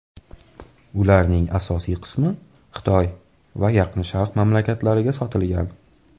Ularning asosiy qismi Xitoy va Yaqin Sharq mamlakatlariga sotilgan.